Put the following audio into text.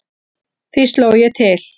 Því sló ég til.